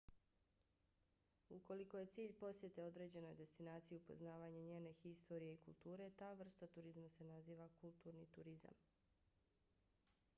ukoliko je cilj posjete određenoj destinaciji upoznavanje njene historije i kulture ta vrsta turizma se naziva kulturni turizam